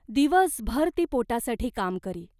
दिवसभर ती पोटासाठी काम करी.